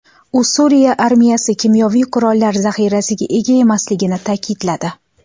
U Suriya armiyasi kimyoviy qurollar zaxirasiga ega emasligini ta’kidladi.